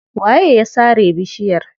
Waye ya sare bishiyar?